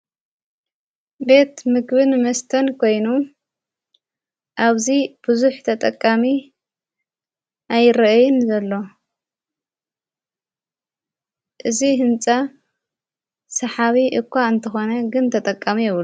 ቤት ምግብን መስተን ኮይኑ ኣብዙ ብዙኅ ተጠቃሚ ኣይርአን ዘሎ እዝ ሕንፃ ሰሓዊ እኳ እንተኾነ ግን ተጠቃሚ የብሉን።